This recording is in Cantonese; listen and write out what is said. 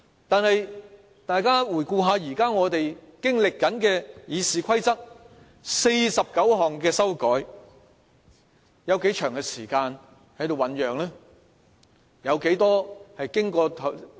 可是，大家回顧我們現正經歷的對《議事規則》49項修改用了多長的時間醞釀？